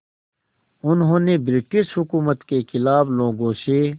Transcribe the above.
उन्होंने ब्रिटिश हुकूमत के ख़िलाफ़ लोगों से